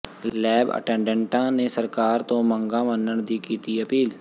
lab ਅਟੈਂਡੈਂਟਾਂ ਨੇ ਸਰਕਾਰ ਤੋਂ ਮੰਗਾਂ ਮੰਨਣ ਦੀ ਕੀਤੀ ਅਪੀਲ